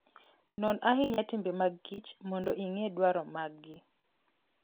Non ahinya timbe mag kich mondo ing'e dwaro maggi.